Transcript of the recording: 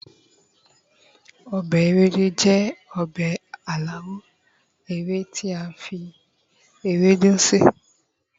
obe Ewédú jẹ obe alawọ ewe ti a fi ewédu sè